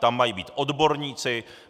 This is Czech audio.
Tam mají být odborníci.